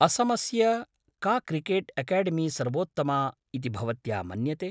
असमस्य का cricket academy सर्वोत्तमा इति भवत्या मन्यते?